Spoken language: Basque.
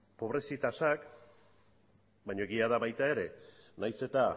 pobrezi tasak baina egia da baita ere nahiz eta